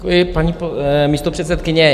Děkuji, paní místopředsedkyně.